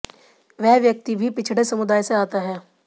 वह व्यक्ति भी पिछड़े समुदाय से आता है